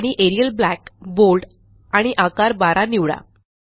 आणि Arial black bold आणि आकार12 निवडा